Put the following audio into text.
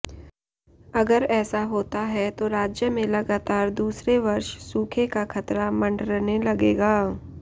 अगर ऐसा होता है तो राज्य में लगातार दूसरे वर्ष सूखे का खतरा मंडरने लगेगा